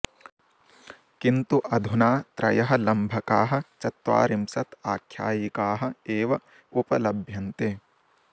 किन्तु अधुना त्रयः लम्भकाः चत्वारिंशत् आख्यायिकाः एव उपलभ्यन्ते